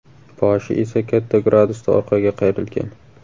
Boshi esa katta gradusda orqaga qayrilgan.